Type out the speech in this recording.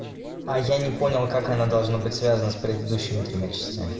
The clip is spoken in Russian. а я не понял как она должна быть связано с предыдущим тремя частями